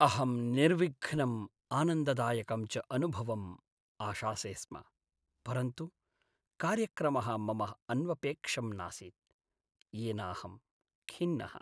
अहं निर्विघ्नं आनन्ददायकं च अनुभवम् आशासे स्म, परन्तु कार्यक्रमः मम अन्वपेक्षं नासीत्। येनाहं खिन्नः।